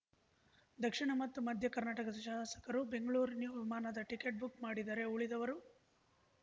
ದಕ್ಷಿಣ ಮತ್ತು ಮಧ್ಯ ಕರ್ನಾಟಕದ ಶಾಸಕರು ಬೆಂಗಳೂರು ನಿವ್ ವಿಮಾನದ ಟಿಕೆಟ್‌ ಬುಕ್‌ ಮಾಡಿದರೆ ಉಳಿದವರು